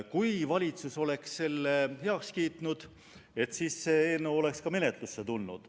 Kui valitsus oleks selle heaks kiitnud, siis oleks see eelnõu ka menetlusse tulnud.